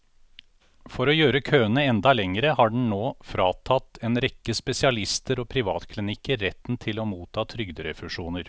For å gjøre køene enda lengre har den nå fratatt en rekke spesialister og privatklinikker retten til å motta trygderefusjoner.